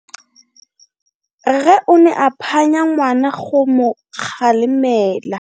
Rre o ne a phanya ngwana go mo galemela.